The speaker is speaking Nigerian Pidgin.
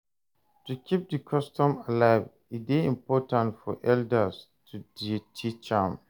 To keep di custom alive e de important for elders to de teach am